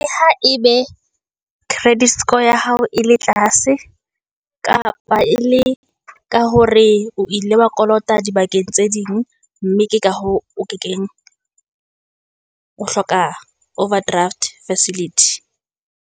Ha e be credit score ya hao e le tlase kapa e le ka hore o ile wa kolota di bakeng tse ding, mme ke ka hoo o ke keng o hloka overdraft facility.